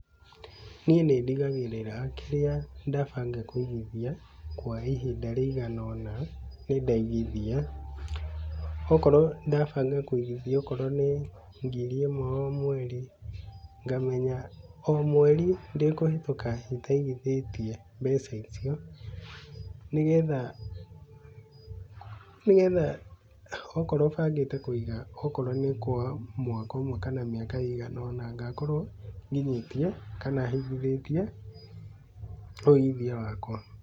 Niĩ nĩ ndigagĩrĩra kĩrĩa ndabanga kũigithia kwa ihinda rĩigana ũna nĩ ndaigithia. Okorwo ndabanga kũigithia okorwo nĩ ngiri ĩmwe o mweri, ngamenya, o mweri ndĩkũhĩtũka itaigithĩtie mbeca icio nĩgetha nĩgetha nĩgetha okorwo bangĩte kũiga okorwo nĩ kwa mwaka ũmwe kana mĩaka igana ũna ngakorwo nginyĩtie kana hingithĩtie ũigithia wakwa.